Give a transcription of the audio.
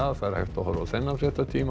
það er hægt að horfa á þennan fréttatíma